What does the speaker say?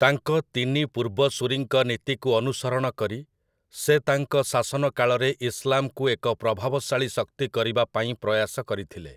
ତାଙ୍କ ତିନି ପୂର୍ବସୂରୀଙ୍କ ନୀତିକୁ ଅନୁସରଣକରି, ସେ ତାଙ୍କ ଶାସନକାଳରେ ଇସଲାମ୍‌କୁ ଏକ ପ୍ରଭାବଶାଳୀ ଶକ୍ତି କରିବା ପାଇଁ ପ୍ରୟାସ କରିଥିଲେ ।